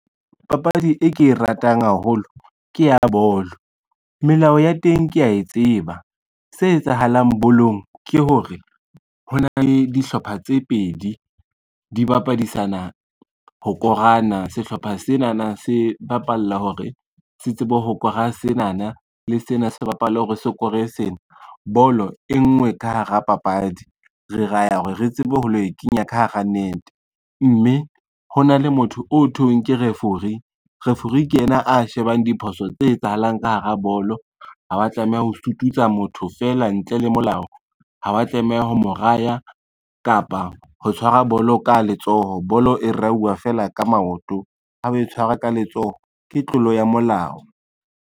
Papadi e ke e ratang haholo ke ya bolo. Melao ya teng kea tseba, se etsahalang bolong ke hore ho na le dihlopha tse pedi, di bapadise nyana ho korana. Sehlopha senana se bapalla hore se tsebe ho kora senana le sena se bapale hore sokore sena bolo e nngwe ka hara papadi, re ra ya hore re tsebe ho lo e kenya ka hara nete, mme hona le motho o thweng ke refori, refori ke ena a shebang diphoso tse etsahalang ka hara bolo. Ha wa tlameha ho sututsa motho fela ntle le molao, ha wa tlameha ho mo raya kapa ho tshwara bolo ka letsoho bolo e rauwa fela ka maoto, a tshwarwa ka letsoho ke tlolo ya molao.